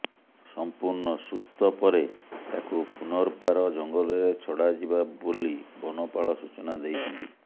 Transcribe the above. ସଂପୂର୍ଣ୍ଣ ସୁସ୍ଥ ପରେ ତାକୁ ପୁର୍ନବାର ଜଙ୍ଗଲରେ ଛଡାଯିବା ବୋଲି ବନପାଳ ସୂଚନା ଦେଇଛନ୍ତି